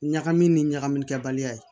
Ɲagami ni ɲagamikɛ baliya ye